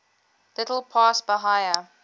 little past bahia